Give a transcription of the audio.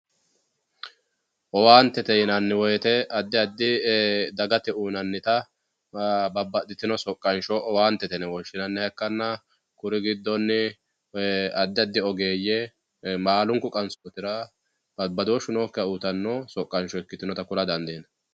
Owaantete yinanni woyte addi addi dagate uyinannita babbaxxitino soqansho owaantete yine woshshinanniha ikkanna kuri giddonni addi addi ogeeyye baalunku qansotira badooshu nookkiha uyittano soqansho ikka ku'lanotta xawisano.